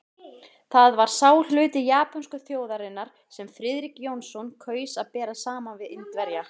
Það var sá hluti japönsku þjóðarinnar, sem Friðrik Jónsson kaus að bera saman við Indverja.